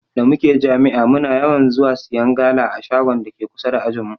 Da muke jami'a muna yawan zuwa siyan gala a shagon dake kusa da ajinmu.